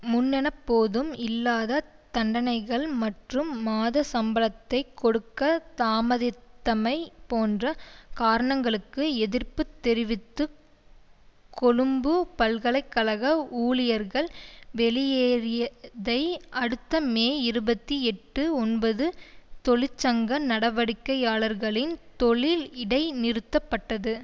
முன்னெப்போதும் இல்லாத தண்டனைகள் மற்றும் மாத சம்பளத்தை கொடுக்க தாமதித்தமை போன்ற காரணங்களுக்கு எதிர்ப்பு தெரிவித்து கொழும்பு பல்கலை கழக ஊழியர்கள் வெளியேறியதை அடுத்து மே இருபத்தி எட்டு ஒன்பது தொழிற்சங்க நடவடிக்கையாளர்களின் தொழில் இடைநிறுத்தப்பட்டது